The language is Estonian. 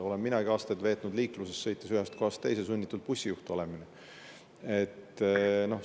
Olen minagi aastate jooksul veetnud liikluses, sõites ühest kohast teise, olnud sunnitud olema nagu bussijuht.